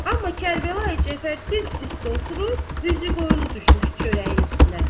Amma Kərbəlayı Cəfər diz üstə oturub, üzü qoyulu düşmüşdü çörəyin üstünə.